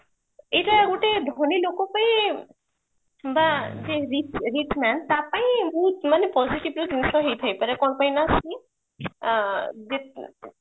ଏଇଟା ଗୋଟେ ଧନୀ ଲୋକ ପାଇଁ ବା ଯିଏ rich man ତାପାଇଁ ମାନେ positive ର ଜିନିଷ ହେଇଥାଇପାରେ ମାନେ କଣ ପାଇଁ ନା ସେ ଆଁ